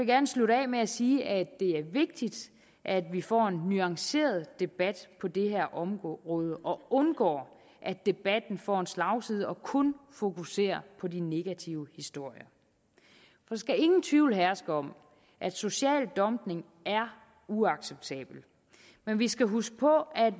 gerne slutte af med at sige at det er vigtigt at vi får en nuanceret debat på det her område og undgår at debatten får slagside og kun fokuserer på de negative historier der skal ingen tvivl herske om at social dumping er uacceptabel men vi skal huske på at